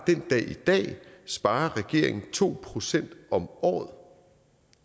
den dag i dag sparer regeringen to procent om året